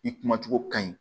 I kumacogo ka ɲi